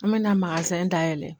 An me na dayɛlɛ